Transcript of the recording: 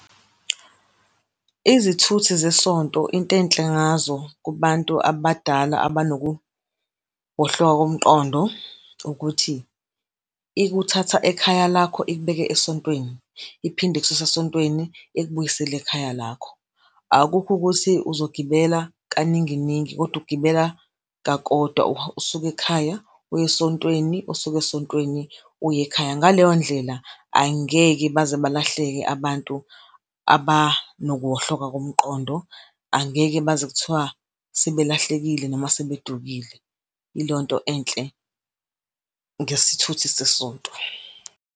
Izithuthi zesonto, into enhle ngazo kubantu abadala abanokuwohloka komqondo, ukuthi ikuthatha ekhaya lakho, ikubeke esontweni, iphinde ikususe esontweni ikubuyisele ekhaya lakho. Akukho ukuthi uzogibela kaningi iningi, kodwa ugibela kakodwa, usuka ekhaya, uya esontweni, usuke esontweni uye ekhaya. Ngaleyo ndlela, angeke baze balahleke abantu abanokuwohloka komqondo, angeke baze kuthiwa sebelahlekile noma sebedukie. Yilonto enhle ngesithuthi sesonto.